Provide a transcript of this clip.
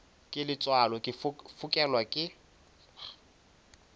ke letswalo ke fokelwa ke